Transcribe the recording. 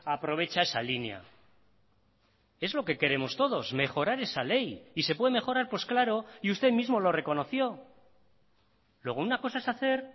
aprovecha esa línea es lo que queremos todos mejorar esa ley y se puede mejorar pues claro y usted mismo lo reconoció luego una cosa es hacer